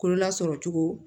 Kololasɔrɔ cogo